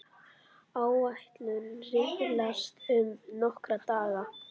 Áætlun riðlast um nokkra daga.